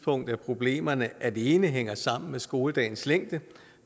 at problemerne alene hænger sammen med skoledagens længe